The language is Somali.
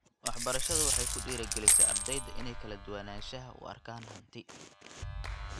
Waxbarashadu waxay ku dhiirigelisaa ardayda inay kala duwanaanshaha u arkaan hanti.